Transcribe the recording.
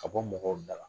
Ka bɔ mɔgɔw da la